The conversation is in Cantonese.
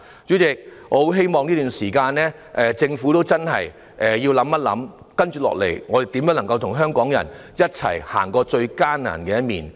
主席，我很希望在這段時間，政府真的思考一下，接下來如何與香港人一起走過最艱難的一年。